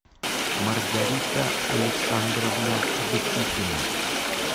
маргарита александровна бычихина